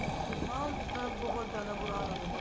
ਹਾਂ ਬਹੁਤ ਜਿਆਦਾ ਬੁਰਾ ਹਾਲ ਹੋ ਜਾਂਦਾ ਹੈ